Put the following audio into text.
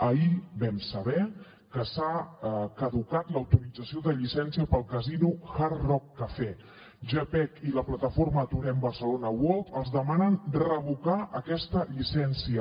ahir vam saber que s’ha caducat l’autorització de llicència per al casino hard rock cafe gepec i la plataforma aturem barcelona world els demanen revocar aquesta llicència